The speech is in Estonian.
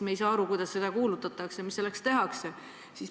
Me ei saa aru, kuidas sellest teada antakse, mida selleks tehakse.